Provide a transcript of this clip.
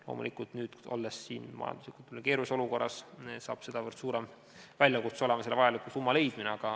Loomulikult, nüüdses majanduslikult keerulises olukorras on sedavõrd suurem väljakutse vajaliku summa leidmine.